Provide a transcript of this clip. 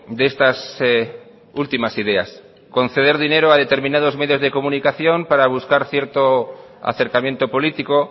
de estas últimas ideas conceder dinero a determinados medios de comunicación para buscar cierto acercamiento político